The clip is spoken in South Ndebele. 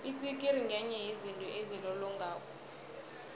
itsikiri ngenye yezinto ezilolongako